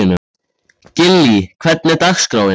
Gillý, hvernig er dagskráin?